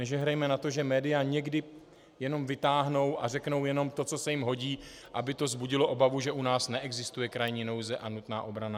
Nežehrejme na to, že média někdy jenom vytáhnou a řeknou jenom to, co se jim hodí, aby to vzbudilo obavu, že u nás neexistuje krajní nouze a nutná obrana.